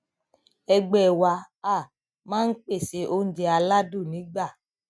ẹgbẹ wa um máa ń pèsè oúnjẹ aládùn nígbà